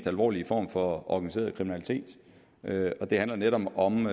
alvorlige form for organiseret kriminalitet og det handler netop om